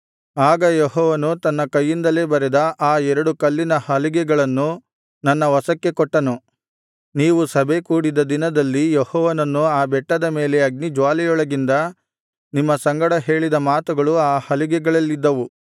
ಆಗ ಯೆಹೋವನು ತನ್ನ ಕೈಯಿಂದಲೇ ಬರೆದ ಆ ಎರಡು ಕಲ್ಲಿನ ಹಲಿಗೆಗಳನ್ನು ನನ್ನ ವಶಕ್ಕೆ ಕೊಟ್ಟನು ನೀವು ಸಭೆ ಕೂಡಿದ ದಿನದಲ್ಲಿ ಯೆಹೋವನು ಆ ಬೆಟ್ಟದ ಮೇಲೆ ಅಗ್ನಿಜ್ವಾಲೆಯೊಳಗಿಂದ ನಿಮ್ಮ ಸಂಗಡ ಹೇಳಿದ ಮಾತುಗಳು ಆ ಹಲಿಗೆಗಳಲ್ಲಿದ್ದವು